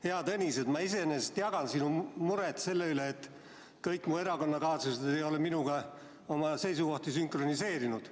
Hea Tõnis, ma iseenesest jagan sinu muret selle pärast, et kõik mu erakonnakaaslased ei ole minuga oma seisukohti sünkroniseerinud.